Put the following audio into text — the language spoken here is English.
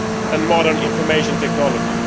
and modern information technology.